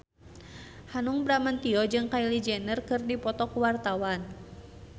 Hanung Bramantyo jeung Kylie Jenner keur dipoto ku wartawan